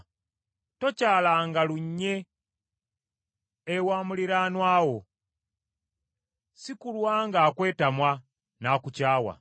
Tokyalanga lunye ewa muliraanwa wo, si kulwa ng’akwetamwa n’akukyawa.